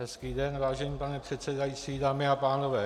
Hezký den, vážený pane předsedající, dámy a pánové.